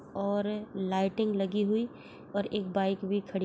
और लाइटिंग लगी हुई और एक बाइक भी खड़ी--